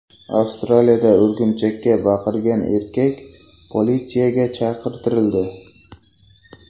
Avstraliyada o‘rgimchakka baqirgan erkak politsiyaga chaqirtirildi.